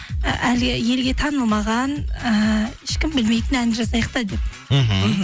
ы әлі елге танылмаған ііі ешкім білмейтін ән жазайық та деп мхм